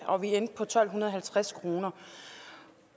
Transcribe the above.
og vi endte på tolv halvtreds kroner